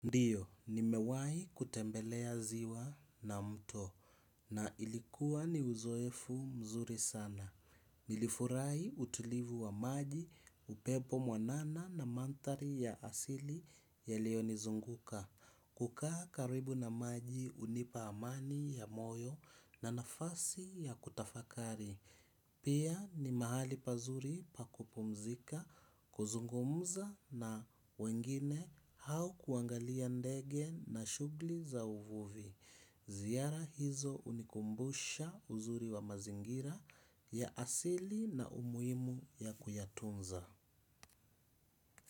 Ndio, nimewahi kutembelea ziwa na mto. Na ilikuwa ni uzoefu mzuri sana. Nilifurahi utulivu wa maji upepo mwanana na manthari ya asili yaliyonizunguka. Kukaa karibu na maji hunipa amani ya moyo na nafasi ya kutafakari. Pia ni mahali pazuri pa kupumzika kuzungumza na wengine au kuangalia ndege na shuguli za uvuvi. Ziara hizo hunikumbusha uzuri wa mazingira ya asili na umuhimu ya kuyatunza.